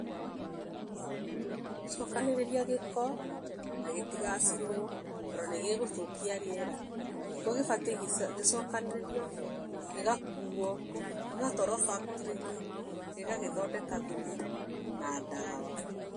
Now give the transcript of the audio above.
Gũcokanĩrĩria gĩko na gĩtigacinwo, tondũ nĩgĩgũthũkia rĩera. Gĩko gĩbatiĩ gĩcokanĩrĩrio gĩgakuo gĩgatwarwo [cs factory inĩ gĩgagĩthondeka thumu na ndawa.